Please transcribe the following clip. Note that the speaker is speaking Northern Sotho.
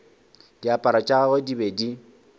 diaparo tša gagwe di be